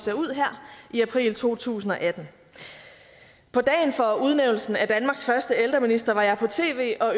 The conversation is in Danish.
ser ud her i april to tusind og atten på dagen for udnævnelsen af danmarks første ældreminister var jeg på tv og